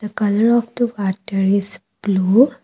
a colour of the water is blue.